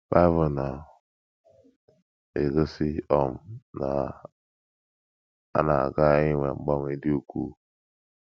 Bible na - egosi um na a na - aga inwe mgbanwe dị ukwuu.